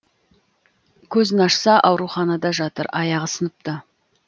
көзін ашса ауруханада жатыр аяғы сыныпты